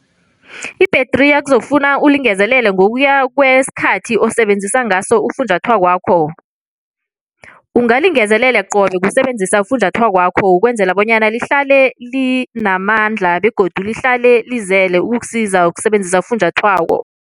Ibhethriya kuzokufuna ulingezelele ngokuya kwesikhathi osebenzisa ngaso ufunjathwakwakho. Ungalingezelele qobe ngokusebenzisa ufunjathwakwakho ukwenzela bonyana lihlale linamandla begodu lihlale lizele ukuksiza ukusebenzisa ufunjathwako.